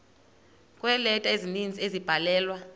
kweeleta ezininzi ezabhalelwa